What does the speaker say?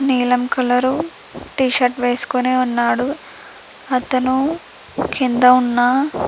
నీలం రంగు టీ-షర్ట్ వేసుకొని ఉన్నాడు అతను కింద ఉన్న --